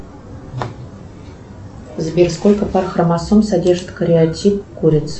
сбер сколько пар хромосом содержит кариотип куриц